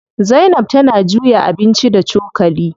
Zainab tana juya abinci da cokali.